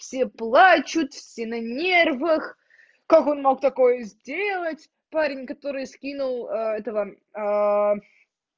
все плачут все на нервах как он мог такое сделать парень который скинул этого